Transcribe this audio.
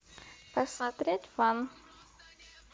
посмотреть фан